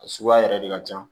A suguya yɛrɛ de ka ca